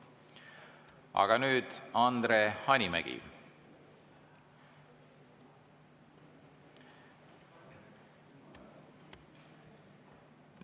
Aga nüüd Andre Hanimägi.